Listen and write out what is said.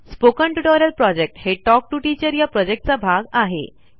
spoken tutorial project हे talk to teacher या प्रॉजेक्टचा भाग आहे